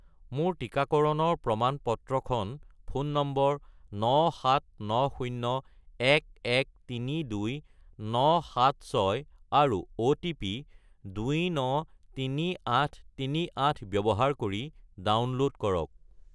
মোৰ টিকাকৰণৰ প্ৰমাণ-পত্ৰখন ফোন নম্বৰ 97901132976 আৰু অ'টিপি 293838 ব্যৱহাৰ কৰি ডাউনলোড কৰক।